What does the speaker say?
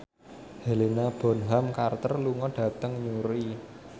Helena Bonham Carter lunga dhateng Newry